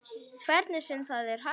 Hvernig sem það er hægt.